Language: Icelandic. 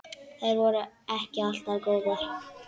Þær voru ekki alltaf góðar.